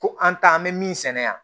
Ko an ta an bɛ min sɛnɛ yan